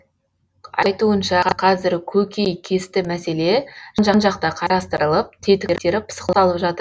айтуынша қазір көкейкесті мәселе жан жақты қарастырылып тетіктері пысықталып жатыр